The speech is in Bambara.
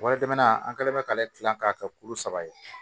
Waati tɛmɛna an kɛlen bɛ k'ale dilan k'a kɛ kulu saba ye